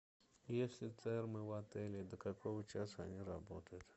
есть ли термы в отеле и до какого часа они работают